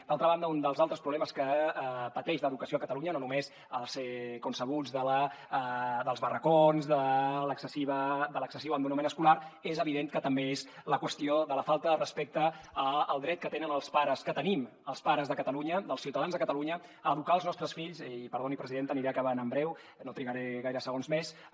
d’altra banda un dels altres problemes que pateix l’educació a catalunya no només els coneguts dels barracons de l’excessiu abandonament escolar és evident que també és la qüestió de la falta de respecte al dret que tenen els pares que tenim els pares de catalunya els ciutadans de catalunya a educar els nostres fills i perdoni presidenta aniré acabant en breu no trigaré gaires segons més